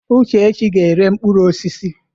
Uchechi ga-ere mkpụrụ osisi.